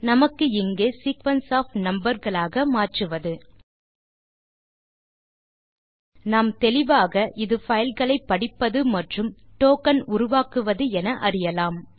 நமக்கு இங்கே sequence of number களாக மாற்றுவது நாம் தெளிவாக இது பைல் களை படிப்பது மற்றும் டோக்கன் உருவாக்குவது என அறியலாம்